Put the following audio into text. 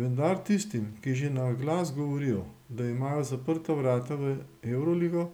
Vendar tistim, ki že na glas govorijo, da imajo zaprta vrata v evroligo,